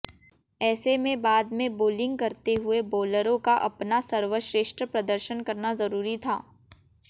ऐसे में बाद में बोलिंग करते हुए बोलरों का अपना सर्वश्रेष्ठ प्रदर्शन करना जरूरी था